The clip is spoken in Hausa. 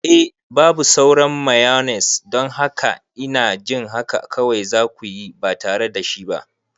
Eh, babu sauran mayones, don haka ina jin haka kawai za ku yi ba tare da shi ba.